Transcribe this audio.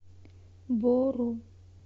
бору